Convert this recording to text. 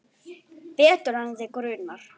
Betur en þig grunar.